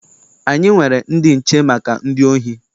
Anyị nwere ndị nche maka ndị ohi.